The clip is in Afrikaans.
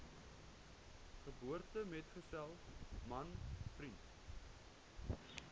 geboortemetgesel man vriend